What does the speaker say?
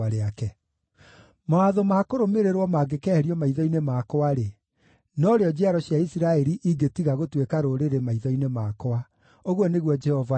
“Mawatho ma kũrũmĩrĩrwo mangĩkeherio maitho-inĩ makwa-rĩ, norĩo njiaro cia Isiraeli ingĩtiga gũtuĩka rũrĩrĩ maitho-inĩ makwa,” ũguo nĩguo Jehova ekuuga.